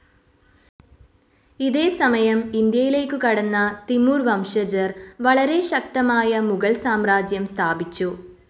ഇതേ സമയം ഇന്ത്യയിലേക്ക് കടന്ന തിമൂർ വംശജർ വളരെ ശക്തമായ മുഗൾ സാമ്രാജ്യം സ്ഥാപിച്ചു.